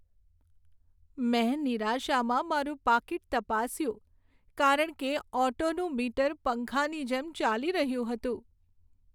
મેં નિરાશામાં મારું પાકીટ તપાસ્યું કારણ કે ઓટોનું મીટર પંખાની જેમ ચાલી રહ્યું હતું.